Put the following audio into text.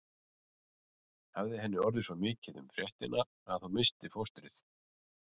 Hafði henni orðið svo mikið um fréttina að hún missti fóstrið?